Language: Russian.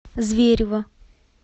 зверево